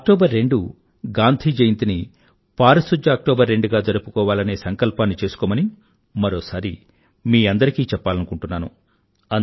October రెండు గాంధీ జయంతిని పారిశుధ్య అక్టోబర్ రెండు గా జరుపుకోవాలనే సంకల్పాన్ని చేసుకోమని మరోసారి మీ అందరికీ చెప్పాలనుకుంటున్నాను